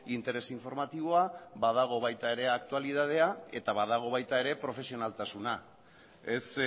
interes informatiboa badago baita ere aktualitatea eta badago baita ere profesionaltasuna ez